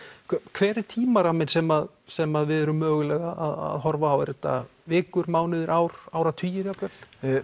hver er tímaramminn sem sem að við erum mögulega að horfa á er þetta vikur mánuðir ár áratugir jafnvel